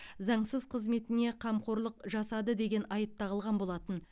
заңсыз қызметіне қамқорлық жасады деген айып тағылған болатын